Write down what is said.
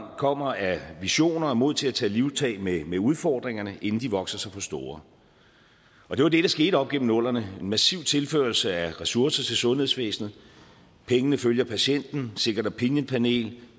kommer af visioner og mod til at tage livtag med med udfordringerne inden de vokser sig for store og det var det der skete op igennem nullerne en massiv tilførsel af ressourcer til sundhedsvæsenet pengene følger patienten second opinion panel